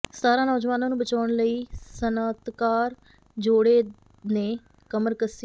ਸਤਾਰਾਂ ਨੌਜਵਾਨਾਂ ਨੂੰ ਬਚਾਉਣ ਲਈ ਸਨਅਤਕਾਰ ਜੋੜੇ ਨੇ ਕਮਰਕੱਸੀ